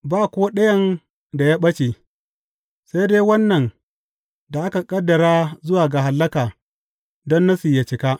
Ba ko ɗayan da ya ɓace, sai dai wannan da aka ƙaddara zuwa ga hallaka don Nassi yă cika.